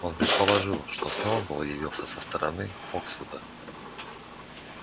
он предположил что сноуболл явился со стороны фоксвуда